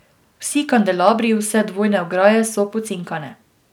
Vsi kandelabri, vse dvojne ograje so pocinkane.